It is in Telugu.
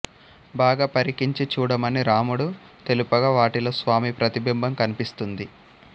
బాగా పరికించి చూడమని రాముడు తెలుపగా వాటిలో స్వామి ప్రతిబింబం కనిపిస్తుంది